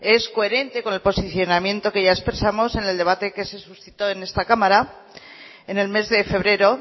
es coherente con el posicionamiento que ya expresamos en el debate que se suscitó en esta cámara en el mes de febrero